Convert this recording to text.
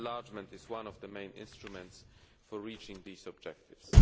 Enlargement is one of the main instruments for reaching these objectives.